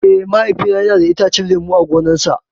Eh, Mahaifina yana da itacen lemu a gonarsa.